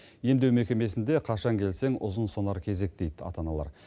емдеу мекемесінде қашан келсең ұзын сонар кезек дейді ата аналар